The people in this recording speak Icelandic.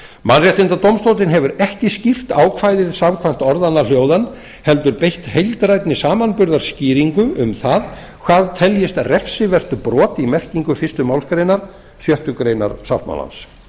mannréttindadómstóllinn hefur ekki skýrt ákvæðið samkvæmt orðanna hljóðan heldur beitt heildrænni samanburðarskýringu um það hvað teljist refsivert brot í merkingu fyrstu málsgrein sjöttu grein sáttmálans